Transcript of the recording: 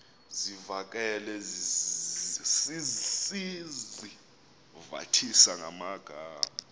zivakale sizivathisa ngamagama